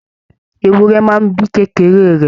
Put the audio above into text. Ewúrẹ́ máa n bí kékeré rẹ.